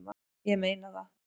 Ég meina það!